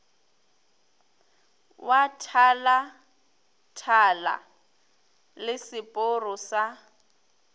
wa thalathala le seporo sa